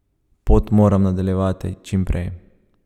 Pot moram nadaljevati čim prej.